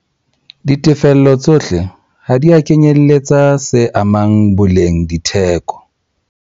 Ditefello tsohle ha di a kenyeletsa VAT